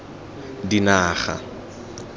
dinaga